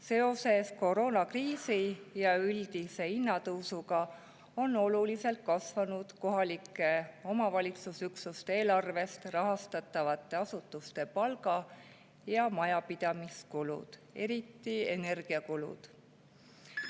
Seoses koroonakriisi ja üldise hinnatõusuga on oluliselt kasvanud kohalike omavalitsusüksuste eelarvest rahastatavate asutuste palga- ja majapidamiskulud, eriti energiakulud.